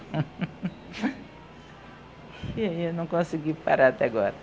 E eu não consegui parar até agora.